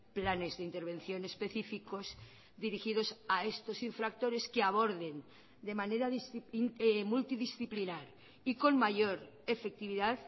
planes de intervención específicos dirigidos a estos infractores que aborden de manera multidisciplinar y con mayor efectividad